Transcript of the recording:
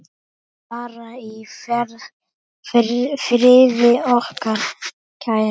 Far í friði, okkar kæri.